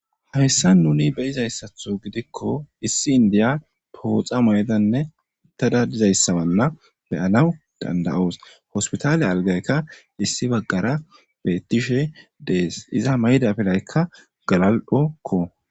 Hamissan nuni beyizayssatho gidikko issi indiya pooxa moydanne uttada dizayssabanna beyanaw dandayoos hospitaale algayka issi baggara beettishe dees iza mayda pelaykka galal7okko.